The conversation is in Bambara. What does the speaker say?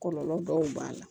Kɔlɔlɔ dɔw b'a la